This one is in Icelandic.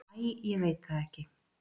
"""Æ, ég veit það ekki."""